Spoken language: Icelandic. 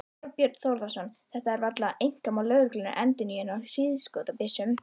Þorbjörn Þórðarson: Þetta er varla einkamál lögreglunnar, endurnýjun á hríðskotabyssum?